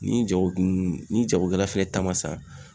Ni jagokun ni jagokɛla fɛnɛ ta ma sa